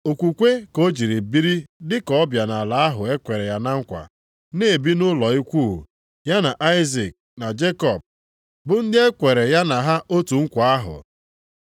Okwukwe ka o jiri biri dịka ọbịa nʼala ahụ e kwere ya na nkwa, na-ebi nʼụlọ ikwu, ya na Aịzik na Jekọb, bụ ndị e kwere ya na ha otu nkwa ahụ.